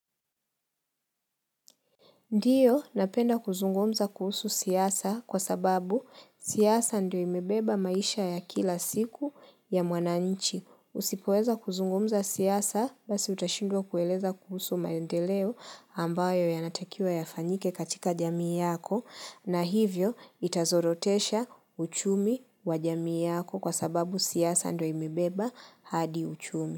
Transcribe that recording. Ndiyo napenda kuzungumza kuhusu siasa kwa sababu siasa ndio imebeba maisha ya kila siku ya mwananchi. Usipoweza kuzungumza siasa basi utashindwa kueleza kuhusu maendeleo ambayo yanatakiwa yafanyike katika jamii yako na hivyo itazorotesha uchumi wa jamii yako kwa sababu siasa ndo imebeba hadi uchumi.